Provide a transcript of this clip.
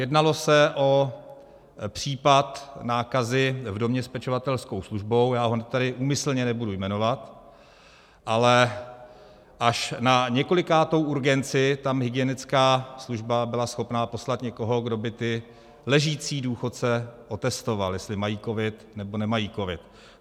Jednalo se o případ nákazy v domě s pečovatelskou službou, já ho tady úmyslně nebudu jmenovat, ale až na několikátou urgenci tam hygienická služba byla schopna poslat někoho, kdo by ty ležící důchodce otestoval, jestli mají covid, nebo nemají covid.